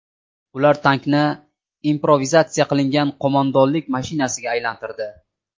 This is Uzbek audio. Ular tankni improvizatsiya qilingan qo‘mondonlik mashinasiga aylantirdi.